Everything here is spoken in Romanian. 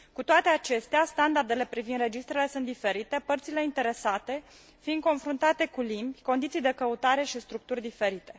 Cu toate acestea, standardele privind registrele sunt diferite, părțile interesate fiind confruntate cu limbi, condiții de căutare și structuri diferite.